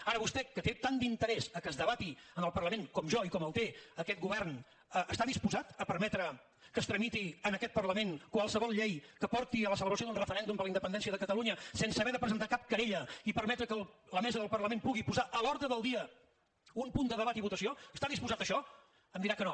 ara vostè que té tant d’interès a que es debati en el parlament com jo i com el té aquest govern està disposat a permetre que es tramiti en aquest parlament qualsevol llei que porti a la celebració d’un referèndum per la independència de catalunya sense haver de presentar cap querella i permetre que la mesa del parlament pugui posar a l’ordre del dia un punt de debat i votació està disposat a això em dirà que no